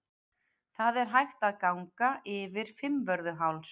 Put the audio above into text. Það er hægt að ganga yfir Fimmvörðuháls.